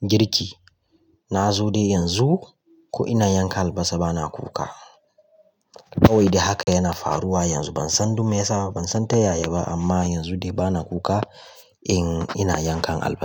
girki, inna zo dai yanzu ko in ina yanka albasar bana kuka. Kawai dai hakan yana faruwa yanzu. Ban san duk meyasa ba, ban san ta yaya ba amma yanzu dai bana kuka in ina yankan albasa.